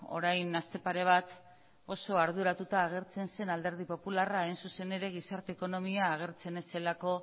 orain aste pare bat oso arduratuta agertzen zen alderdi popularra hain zuzen ere gizarte ekonomia agertzen ez zelako